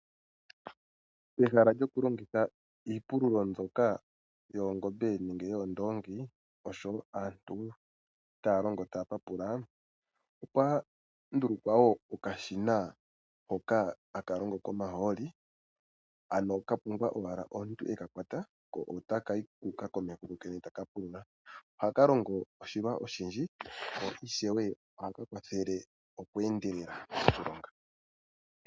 Peha lyokulongitha iipululo mbyoka yoongombe nenge yoondoongi oshowo aantu taya longo taya papula, opwa ndulukwa wo okashina hoka haka longo komahooli, ano ka pumbwa owala omuntu e ka kwata ko otaka yi komeho kokene taka pulula. Ohaka longo oshilwa oshinene, ko ishewe ohaka kwathele oku endelela okulonga.